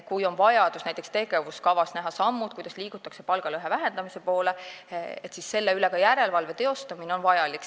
Kui on vaja näiteks tegevuskavas näha ette sammud, kuidas liigutakse palgalõhe vähendamise poole, siis ka järelevalve selle üle on vajalik.